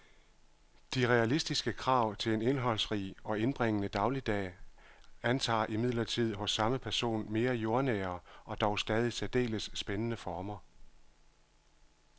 De realistiske krav til en indholdsrig og indbringende dagligdag antager imidlertid hos samme person mere jordnære og dog stadig særdeles spændende former.